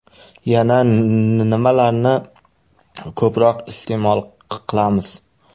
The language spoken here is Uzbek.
Yana nimalarni ko‘proq iste’mol qilamiz?